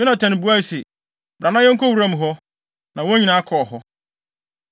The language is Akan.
Yonatan buae se, “Bra na yɛnkɔ wuram hɔ.” Na wɔn nyinaa kɔɔ hɔ.